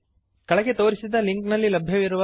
ಕೆಳಗೆ ತೋರಿಸಿದ ಲಿಂಕ್ನಲ್ಲಿ ಲಭ್ಯವಿರುವ ವೀಡಿಯೋವನ್ನು ನೋಡಿರಿ